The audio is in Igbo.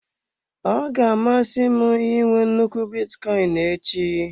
Ọ ga-amasị m I nwe nnukwu bitcoin echi.